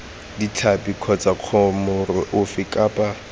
ditlhapi kgotsa mokoro ofe kapa